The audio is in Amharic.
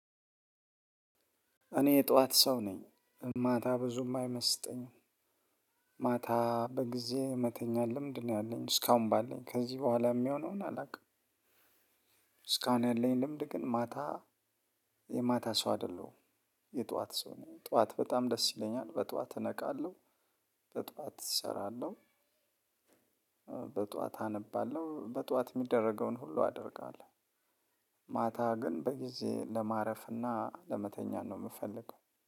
እኔ የጧት ሰው ነኝ ማታ ብዙም አይመስጠኝም። ማታ በጊዜ የመተኛት ልምድ ነው ያለኝ እስካሁን ባለኝ ከዚህ በኋላ የሚሆነውን አላውቅም። እስካሁን ያለኝ ልምድ ግን ማታ የማታ ሰው አይደለሁም። የጠዋት ሰው ነኝ። ጠዋት በጣም ደስ ይለኛል በጠዋት እነቃለሁ። በጥዋት እሰራለሁ። በጠዋት አነባለሁ በጠዋት የሚደረገውን ሁሉ አደርጋለሁ። ማታ ግን በጊዜ ለማረፍና ለመተኛት ነው የምፈልገው